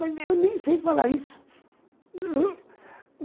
Mas eu nem sei falar isso.